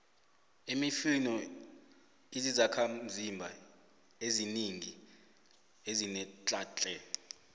imifino izizakhamzimba eziningi ezinetlha tle